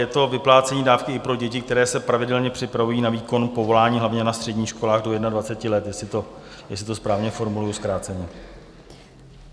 Je to vyplácení dávky i pro děti, které se pravidelně připravují na výkon povolání, hlavně na středních školách do 21 let, jestli to správně formuluji zkráceně.